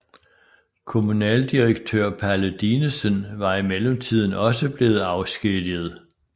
Kommunaldirektør Palle Dinesen var i mellemtiden også blevet afskediget